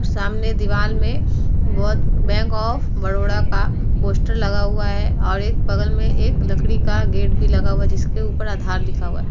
सामने दीवाल में बहोत बैंक ऑफ़ बड़ोदा का पोस्टर लगा हुआ है और एक बगल में एक लकड़ी का गेट भी लगा हुआ है जिसके ऊपर आधार लिखा हुआ है। --